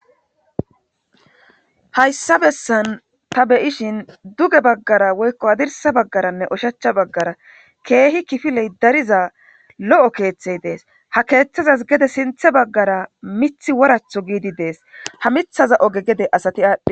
Hayssa bessan ta beyishin duge baggara woykko adirsa baggaranne oshachcha baggara keehi kifiley dariza lo'o keeththey dees ha keeththazas gede sinthe baggara mithi woratho giidi dees ha mithaza oge gede asati aadhdhi.